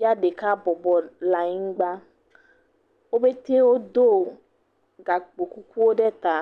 Ya ɖeka bɔbɔ le anyigba. Wo pɛte wodo gakpo kukuwo ɖe ta.